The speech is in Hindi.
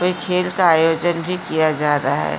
कोई खेल का आयोजन भी किया जा रहा है।